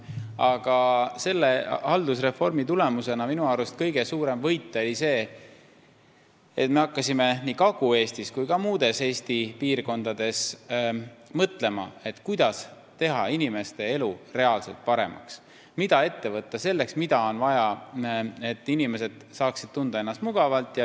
Aga haldusreformi tulemusena oli minu arust kõige suurem võit see, et me hakkasime nii Kagu-Eestis kui ka muudes Eesti piirkondades mõtlema, kuidas teha inimeste elu reaalselt paremaks, mida on vaja ette võtta selleks, et inimesed saaksid ennast mugavalt tunda.